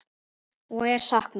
Og er saknað.